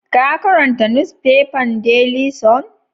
Ka karanta nusfefan Daily sun?